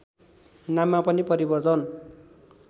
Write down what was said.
नाममा पनि परिवर्तन